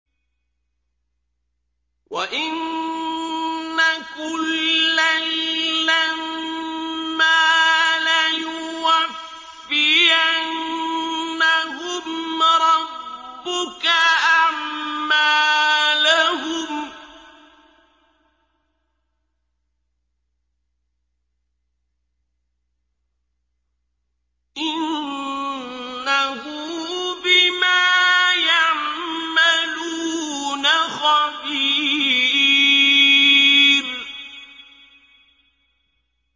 وَإِنَّ كُلًّا لَّمَّا لَيُوَفِّيَنَّهُمْ رَبُّكَ أَعْمَالَهُمْ ۚ إِنَّهُ بِمَا يَعْمَلُونَ خَبِيرٌ